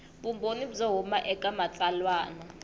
vumbhoni byo huma eka matsalwa